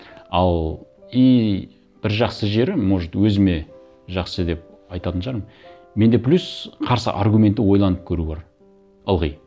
ал и бір жақсы жерім может өзіме жақсы деп айтатын шығармын менде плюс қарсы аргументті ойланып көру бар ылғи